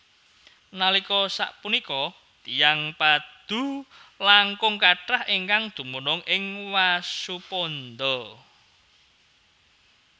Nalika sapunika tiyang Padoe langkung kathah ingkang dumunung ing Wasuponda